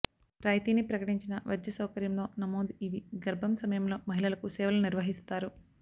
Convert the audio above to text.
రాయితీని ప్రకటించిన వైద్య సౌకర్యం లో నమోదు ఇవి గర్భం సమయంలో మహిళలకు సేవలు నిర్వహిస్తారు